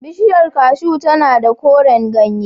Bishiyar cashew tana da koren ganye.